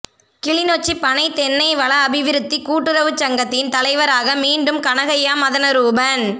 கிளிநொச்சி பனை தென்னை வள அபிவிருத்திக் கூட்டுறவுச் சங்கத்தின் தலைவராக மீண்டும் கனகையா மதனரூபன்